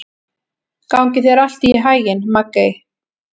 Gangi þér allt í haginn, Maggey.